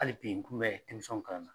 Hali bi n kun bɛ denmisɛnw kalanna.